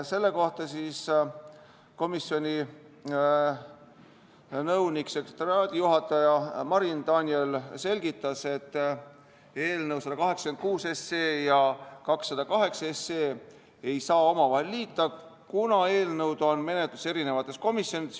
Selle kohta komisjoni nõunik-sekretariaadijuhataja Marin Daniel selgitas, et eelnõusid 186 ja 208 ei saa omavahel liita, kuna eelnõud on menetluses eri komisjonides.